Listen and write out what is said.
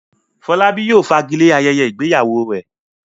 Fọlábí yóò fagilé ayẹyẹ ìgbéyàwó rẹ̀.